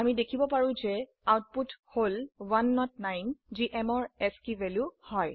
আমি দেখিব পাৰো যে আউটপুট হল 109 যি m ৰ আস্কী ভ্যালু হয়